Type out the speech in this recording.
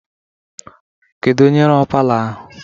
kedu onye rụrụ palọ ahụ?